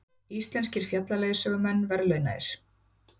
Íslenskir fjallaleiðsögumenn verðlaunaðir